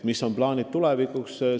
Mis on plaanid tulevikuks?